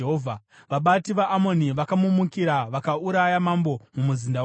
Vabati vaAmoni vakamumukira vakauraya mambo mumuzinda wake.